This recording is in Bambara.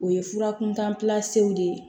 O ye fura kuntanpew de ye